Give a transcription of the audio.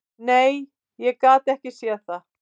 Nei, ég gat ekki séð það.